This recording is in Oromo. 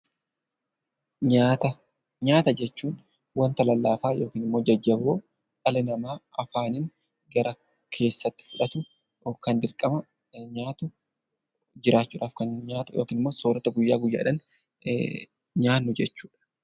Nyaata jechuun wanta lallaafaa yookiin immoo jajjaboo dhalli namaa afaaniin gara keessaatti fudhatu, kan dirqama nyaatu, jiraachuu dhaaf kan nyaatu yookiin immoo soorata guyyaa guyyaa dhaan nyaannu jechuu dha.